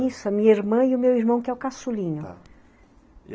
Isso, a minha irmã e o meu irmão, que é o cassulinha, tá.